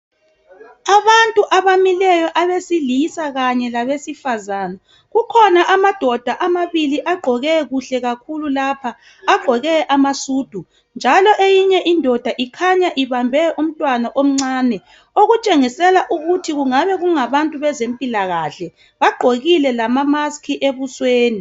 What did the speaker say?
Abantu abamileyo abesilisa kanye labesifazana kukhona amadoda amabili agqoke kuhle kakhulu lapha, agqoke amasudu njalo eyinye indoda ibambe umntwana omncane okutshengisela ukuthi kungabe kungabantu bezempilakahle, bagqokile lamamask ebusweni.